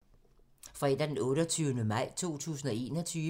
Fredag d. 28. maj 2021